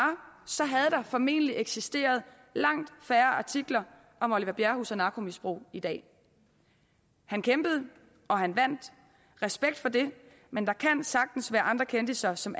så havde der formentlig eksisteret langt færre artikler om oliver bjerrehus og narkomisbrug i dag han kæmpede og han vandt respekt for det men der kan sagtens være andre kendisser som